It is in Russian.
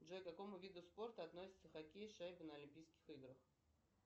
джой к какому виду спорта относится хоккей с шайбой на олимпийских играх